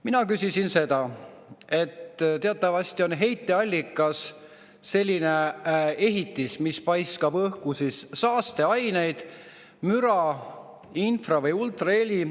Mina küsisin seda, et teatavasti on heiteallikas selline ehitis, mis paiskab välisõhku saasteaineid, müra, infra‑ või ultraheli.